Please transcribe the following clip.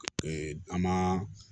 an ma